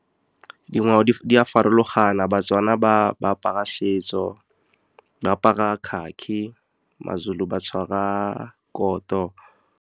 Dingwao di a farologana, baTswana, ba apara setso, ba apara khakhi maZulu ba tshwara koto.